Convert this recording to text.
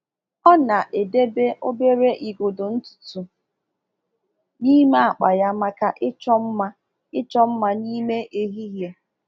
Ọ na-edebe obere igodo ntutu n’ime akpa ya maka ịchọ mma ịchọ mma n’ime ehihie.